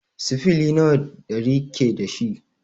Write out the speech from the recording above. Sifili nawa ɗari ke dashi?